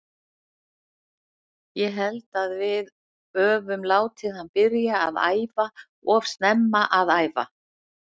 Ég held að við öfum látið hann byrja að æfa of snemma að æfa.